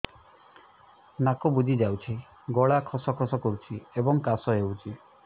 ନାକ ବୁଜି ଯାଉଛି ଗଳା ଖସ ଖସ କରୁଛି ଏବଂ କାଶ ହେଉଛି